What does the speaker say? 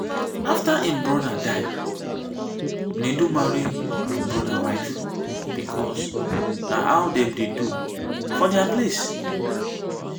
after im brother die nedu marry im brother wife because na how dem dey do for dia place